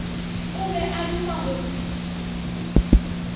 o be a duma go